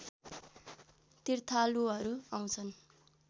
तीर्थालुहरू आउँछन्